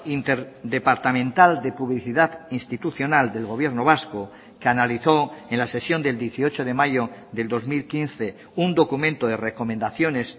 interdepartamental de publicidad institucional del gobierno vasco que analizó en la sesión del dieciocho de mayo del dos mil quince un documento de recomendaciones